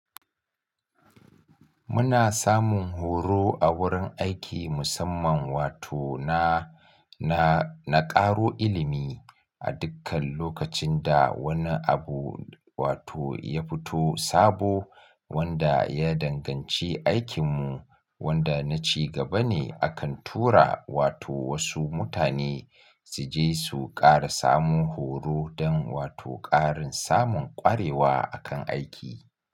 Muna samun horo a wurin aiki musamman wato na, na, na ƙaro ilimi a dukkan lokacin da wani abu wato ya fito sabo wanda ya danganci aikinmu wanda na ci gaba ne. Akan tura wato wasu mutane su je su ƙara samun horo don wato ƙarin samun ƙwarewa akan aiki.